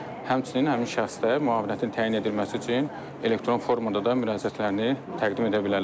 Həmçinin həmin şəxslər müavinətin təyin edilməsi üçün elektron formada da müraciətlərini təqdim edə bilərlər.